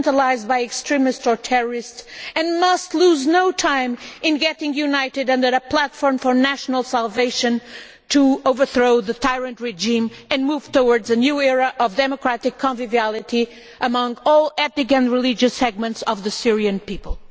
used by extremists and terrorists and must lose no time in getting united under a platform for national salvation to overthrow the tyrant regime and move towards a new era of democratic conviviality among all ethnic and religious segments of the Syrian people.